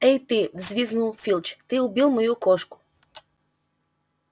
это ты взвизгнул филч ты убил мою кошку